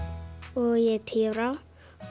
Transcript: og ég er tíu ára